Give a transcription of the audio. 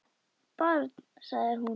Barn, sagði hún.